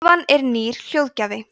tölvan er nýr hljóðgjafi